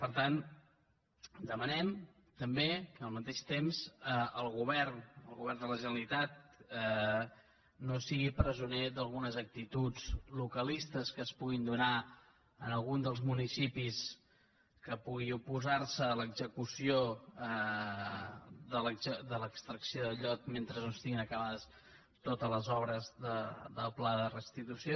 per tant demanem també al mateix temps al govern de la generalitat que no sigui presoner d’algunes actituds localistes que es puguin donar en algun dels municipis que pugui oposar se a l’execució de l’extracció de llot mentre no estiguin acabades totes les obres del pla de restitució